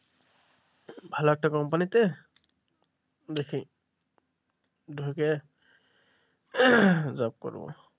ভালো একটা কোম্পানিতে দেখি ঢুকে job করব,